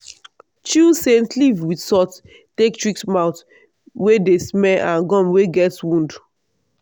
chew scent leaf with salt take treat mouth wey dey smell and gum wey get wound.